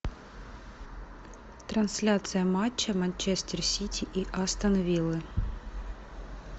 трансляция матча манчестер сити и астон виллы